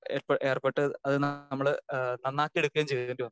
Speaker 2 ഏർപ്പെട്ട് അത് നമ്മള് നന്നാക്കി എടുക്കുകയും ചെയ്യേണ്ടിവന്നു.